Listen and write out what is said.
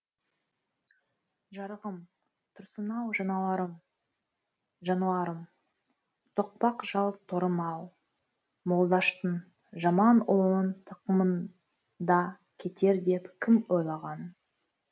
жарығым тұрсын ау жануарым жануарым тоқпақ жал торым ау молдаштың жаман ұлының тақымыңда кетер деп кім ойлаған